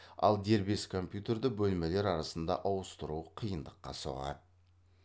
ал дербес компьютерді бөлмелер арасында ауыстыру қиындыққа соғады